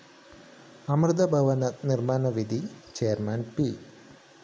അമൃതാഭവന നിര്‍മ്മാണ നിധി chairman P